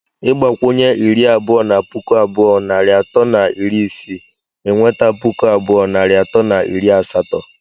Ịgbakwunye iri abụọ na puku abụọ narị atọ na iri isii, ị nweta puku abụọ narị atọ na iri asatọ.